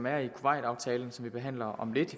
er i kuwait aftalen som vi behandler om lidt